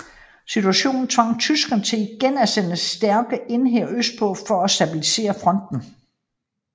Situationen tvang tyskerne til igen at sende stærke enheder østpå for at stabilisere fronten